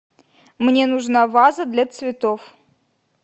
мне нужна ваза для цветов